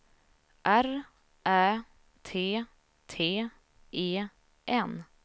R Ä T T E N